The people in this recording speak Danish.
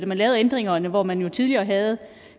man lavede ændringerne hvor man jo tidligere havde